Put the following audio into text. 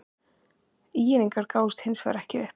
ÍR-ingar gáfust hins vegar ekki upp.